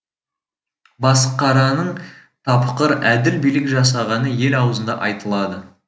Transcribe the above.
басықараның тапқыр әділ билік жасағаны ел аузында айтылады